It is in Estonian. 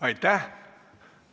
Aitäh!